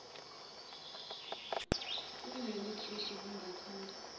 kuyileli khishi ngilithanda